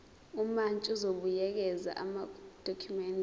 umantshi uzobuyekeza amadokhumende